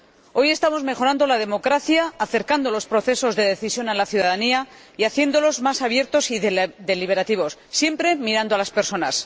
Hoy estamos mejorando la democracia, acercando los procesos de decisión a la ciudadanía y haciéndolos más abiertos y deliberativos, siempre mirando a las personas.